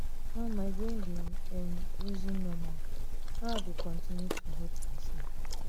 now my brain dey um reason normal how i um go continue to hurt um myself.